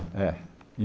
É e